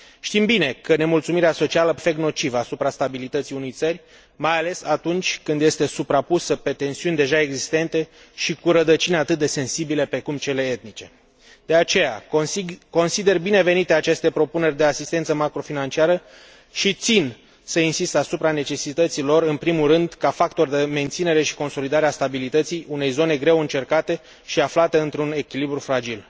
Știm bine că nemulțumirea socială poate avea un efect nociv asupra stabilității unei țări, mai ales atunci când este suprapusă pe tensiuni deja existente și cu rădăcini atât de sensibile precum cele etnice. De aceea, consider binevenite aceste propuneri de asistență macrofinanciară și țin să insist asupra necesității lor, în primul rând ca factor de menținere și consolidare a stabilității unei zone greu încercate și aflate într un echilibru fragil.